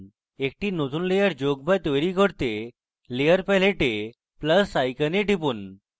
একটি নতুন layer যোগ to তৈরী করতে layer প্যালেটে plus icon টিপুন